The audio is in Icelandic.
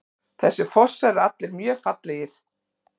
Þessir fossar eru allir mjög fallegir.